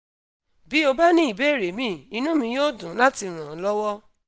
bí o bá ní ìbéèrè míì inú mi yóò dùn láti ràn ọ lọ́wọ́